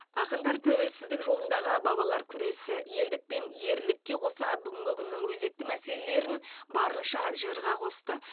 ақындар тәуелсіздік жолындағы бабалар күресі елдік пен ерлікке қоса бүгінгі күннің өзекті мәселелерін барынша жырға қосты